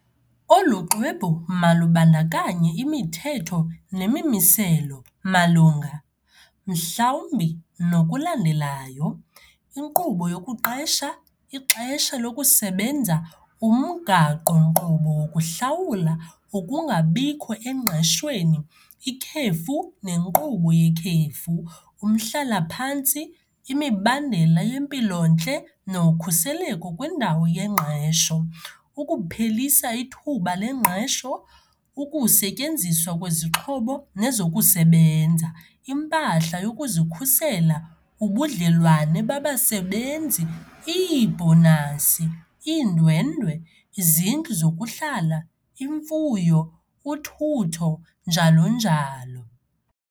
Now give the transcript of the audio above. Olu xwebhu malubandakanye imithetho nemimiselo malunga, mhlawumbi, nokulandelayo- inkqubo yokuqesha, ixesha lokusebenza, umgaqo-nkqubo wokuhlawula, ukungabikho engqeshweni, ikhefu nenkqubo yekhefu, umhlala-phantsi, imibandela yeMpilo-ntle noKhuseleko kwiNdawo yeNgqesho, ukuphelisa ithuba lengqesho, ukusetyenziswa kwezixhobo nezokusebenza, impahla yokuzikhusela, ubudlelwane babasebenzi, iibhonasi, iindwendwe, izindlu zokuhlala, imfuyo, uthutho, njalo njalo.